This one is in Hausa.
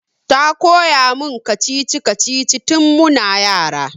Ta koya mana kacici-kacici tin mun yara